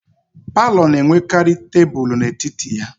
Palọ na-enwekarị tebulu n'etiti ya